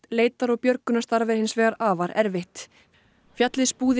leitar og björgunarstarf er hins vegar afar erfitt fjallið